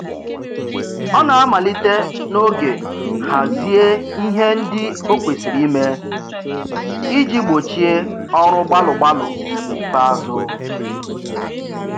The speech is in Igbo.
Ọ na-amalite n'oge hazie ihe ndị o kwesịrị ime iji gbochie ọrụ gbalụ gbalụ n'ikpeazụ